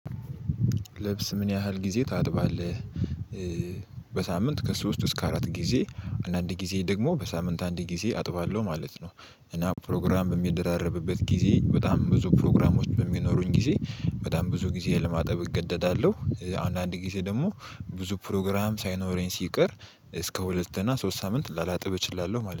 ልብስ ምን ያህል ጊዜ ታጥባለህ? በሳምንት ከሶስት እስከ አራት ጊዜ አንዳንድ ጊዜ ደግሞ በሳምንት አንድ ጊዜ አጥባለሁ ማለት ነው። እና ፕሮግራም በሚደራረብበት ጊዜ በጣም ብዙ ፕሮግራሞች በሚኖሩኝ ጊዜ በጣም ብዙ ጊዜ ለማጠብ እገደዳለሁ። አንዳንድ ጊዜ ደግሞ ብዙ ፕሮግራም ሳይኖረኝ ሲቀር እስከ ሁለት እና ሶስት ሳምንት ላላጥብ እችላለሁ ማለት ነው